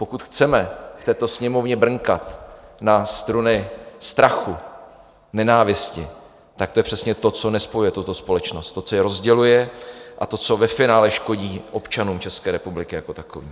Pokud chceme v této Sněmovně brnkat na struny strachu, nenávisti, tak to je přesně to, co nespojuje tuto společnost, to, co ji rozděluje, a to, co ve finále škodí občanům České republiky jako takovým.